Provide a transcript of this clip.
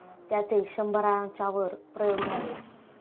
त्याचे शंभराच्यावर प्रयोग झाले.